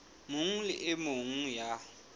mong le e mong ya